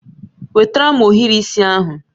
Wetara m ohiri isi ahụ